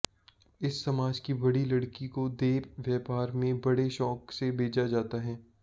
इस समाज की बड़ी लड़की को देह व्यापार में बड़े शौक से भेजा जाता है